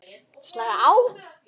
Slaka á?